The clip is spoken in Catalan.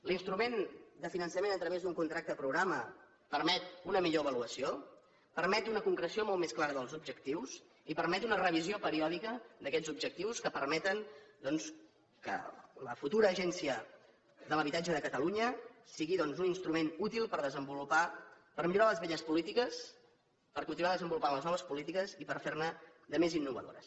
l’instrument de finançament a través d’un contracte programa permet una millor avaluació permet una concreció molt més clara dels objectius i permet una revisió periòdica d’aquests objectius que permeten doncs que la futura agència de l’habitatge de catalunya sigui un instrument útil per millorar les velles polítiques per continuar desenvolupant les noves polítiques i per fer ne de més innovadores